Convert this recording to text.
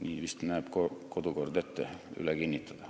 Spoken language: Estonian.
Kodukord näeb vist ette nii üle kinnitada.